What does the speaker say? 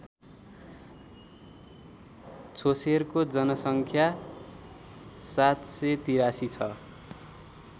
छोसेरको जनसङ्ख्या ७८३ छ